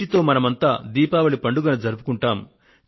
వీటితో మనమంతా దీపావళి పండుగను జరుపుకుంటాం